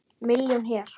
Milljón hér.